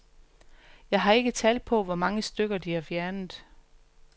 Jeg har ikke tal på, hvor mange stykker de har fjernet.